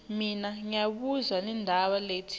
naloyo labo lo